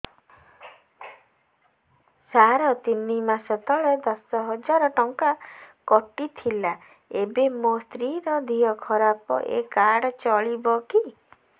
ସାର ତିନି ମାସ ତଳେ ଦଶ ହଜାର ଟଙ୍କା କଟି ଥିଲା ଏବେ ମୋ ସ୍ତ୍ରୀ ର ଦିହ ଖରାପ ଏ କାର୍ଡ ଚଳିବକି